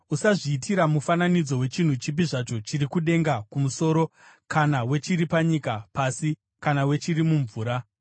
Usazviitira mufananidzo wechinhu chipi zvacho chiri kudenga kumusoro kana wechiri panyika pasi kana wechiri mumvura.